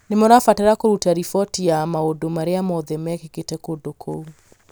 nĩ mũrabatara kũruta riboti ya maũndũ marĩa mothe mekĩkĩte kũndũ kũu.